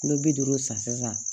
Kulo bi duuru san sisan